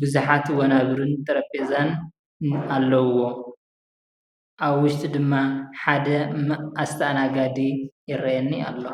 ቡዙሓት ወናብርን ጠረጴዛን ኣለዉዎ ኣብ ዉሽጡ ድማ ሓደ ኣስተኣናጋዲ ይረኣየኒ ኣሎ